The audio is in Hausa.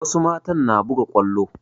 Wasu matan na buga kwallo